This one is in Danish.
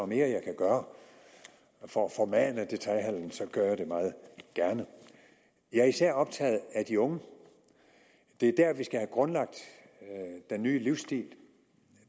mere jeg kan gøre for at formane detailhandelen gør jeg det meget gerne jeg er især optaget af de unge det er der vi skal have grundlagt den nye livsstil